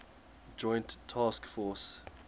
joint task force